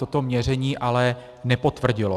Toto měření ale nepotvrdilo.